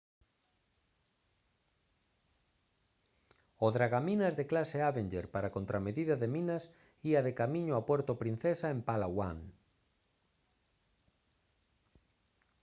o dragaminas de clase avenger para a contramedida de minas ía de camiño a puerto princesa en palawan